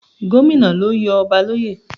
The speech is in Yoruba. Gómìnà le yọ ọba l'óyè.